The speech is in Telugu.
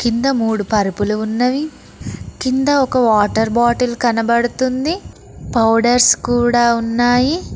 కింద మూడు పరుపులు ఉన్నవి కింద ఒక వాటర్ బాటిల్ కనబడుతుంది పౌడర్స్ కూడా ఉన్నాయి.